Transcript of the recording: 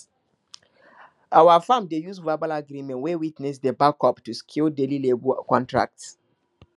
our farm dey use verbal agreement wey witnesses dey back up to secure daily labour contracts